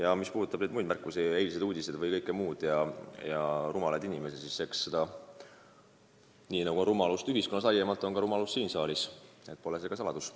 Aga mis puudutab muid märkusi ja eilseid uudiseid, siis eks nii, nagu on rumalust ühiskonnas laiemalt, on seda ka siin saalis – pole see ka saladus.